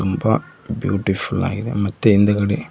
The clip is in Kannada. ತುಂಬಾ ಬ್ಯೂಟಿಫುಲ್ ಆಗಿದೆ ಮತ್ತೆ ಹಿಂದಗಡೆ--